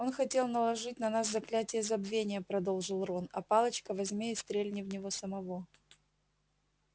он хотел наложить на нас заклятие забвения продолжил рон а палочка возьми и стрельни в него самого